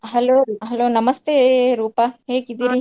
Hello hello ನಮಸ್ತೇ ರೂಪಾ ?